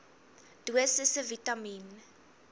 dosisse vitamien